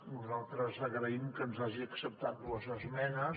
nosaltres agraïm que ens hagi acceptat dues esmenes